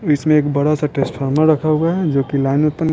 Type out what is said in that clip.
इसमें एक बड़ा सा ट्रांसफार्मर रखा हुआ है जो कि लाइन उत्पन --